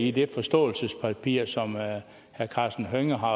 i det forståelsespapir som herre karsten hønge har